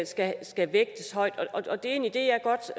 skal skal vægtes højt og det er en idé jeg godt